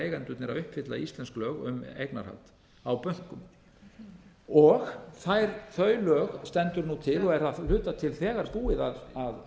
eigendurnir að uppfylla íslensk lög um eignarhald á bönkum þau lög stendur nú til og er að hluta til þegar búið að